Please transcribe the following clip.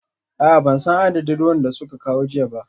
A'a ban san adadin ruwan da suka kawo jiya ba